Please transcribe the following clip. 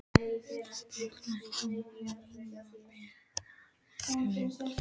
Viltu ekki láta mig um að meta það sagði Valdimar.